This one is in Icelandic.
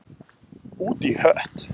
Út í hött